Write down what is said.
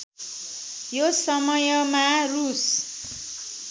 यो समयमा रूस